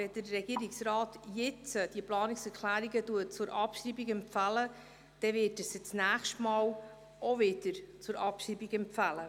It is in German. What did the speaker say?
Wenn der Regierungsrat diese Planungserklärungen jetzt zur Abschreibung empfiehlt, wird er sie nächstes Mal auch wieder zur Abschreibung empfehlen.